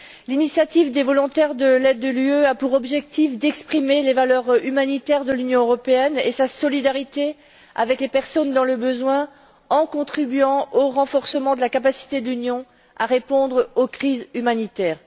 L'initiative des volontaires de l'aide de l'UE a pour objectif d'exprimer les valeurs humanitaires de l'Union européenne et sa solidarité avec les personnes dans le besoin, en contribuant au renforcement de la capacité de l'Union à répondre aux crises humanitaires.